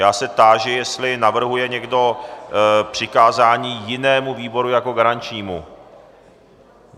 Já se táži, jestli navrhuje někdo přikázání jinému výboru jako garančnímu.